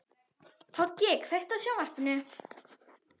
Toggi, kveiktu á sjónvarpinu.